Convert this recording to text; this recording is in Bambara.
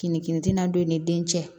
Kinin tina don i ni den cɛ